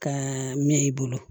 Ka mɛn i bolo